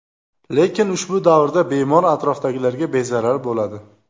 Lekin ushbu davrda bemor atrofdagilarga bezarar bo‘ladi.